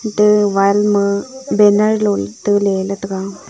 tega wall ma banner lo taile la taiga.